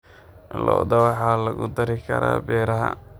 Lo'da waxaa lagu dari karaa beeraha.